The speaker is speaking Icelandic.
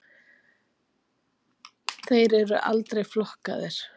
Þeir eru aldrei flokkaðir.